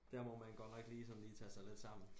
Der må man godt nok lige sådan lige tage sig lidt sammen